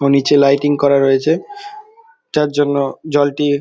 নীচে লাইটিং করা রয়েছে। যার জন্য জলটি--